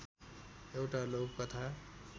एउटा लघुकथा